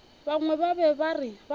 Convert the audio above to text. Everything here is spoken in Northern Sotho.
bangwe ba be ba rata